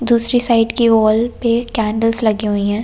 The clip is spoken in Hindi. दूसरी साइड की वॉल पे कैंडल्स लगे हुए हैं।